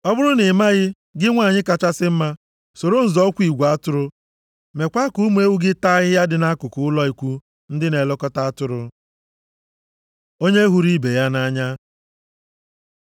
Ọ bụrụ na ị maghị, gị nwanyị kachasị mma, soro nzọ ụkwụ igwe atụrụ meekwa ka ụmụ ewu gị taa ahịhịa dị nʼakụkụ ụlọ ikwu ndị na-elekọta atụrụ. Onye hụrụ ibe ya nʼanya